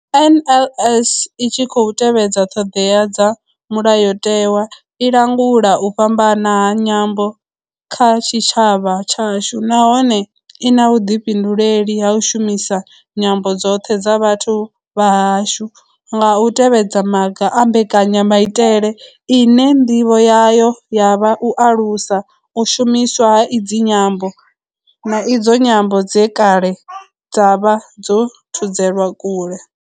NLS i tshi khou tevhedza ṱhodea dza mulayotewa, i langula u fhambana ha nyambo kha tshitshavha tshashu nahone I na vhuḓifhinduleli ha u shumisa nyambo dzoṱhe dza vhathu vha hashu nga u tevhedza maga a mbekanyamaitele ine ndivho yayo ya vha u alusa u shumiswa ha idzi nyambo, na idzo nyambo dze kale dza vha dzo thudzelwa kule.